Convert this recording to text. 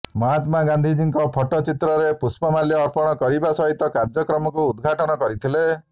ମହାତ୍ମାଗାନ୍ଧୀଙ୍କ ଫଟୋ ଚିତ୍ରରେ ପୁଷ୍ପମାଲ୍ୟ ଅର୍ପଣ କରିବା ସହିତ କାର୍ଯ୍ୟକ୍ରମକୁ ଉଦଘାଟନ କରିଥିଲେ